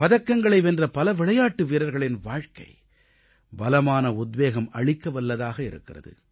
பதக்கங்களை வென்ற பல விளையாட்டு வீரர்களின் வாழ்க்கை பலமான உத்வேகம் அளிக்கவல்லதாக இருக்கிறது